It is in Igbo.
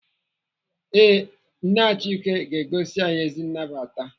Ee, NNE Achike ga-egosi anyị ezi nnabata.